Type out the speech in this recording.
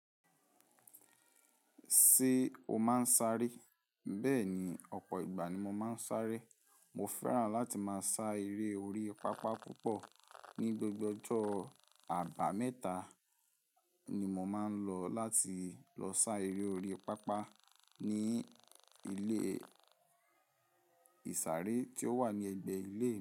Ṣé o máa ń sáré? Bẹ́ẹ̀ni, ọ̀pọ̀ ìgbà ni mo máa ń sáré. Mo fẹ́ràn láti máa sá eré orí pápá púpọ̀. Ni gbogbo ọjọ́ àbámẹ́ta ni mo máa ń lọ láti lọ sá eré orí pápá ní ilé ìsàré tí ó wà ní ẹ̀gbẹ́ ilé mi.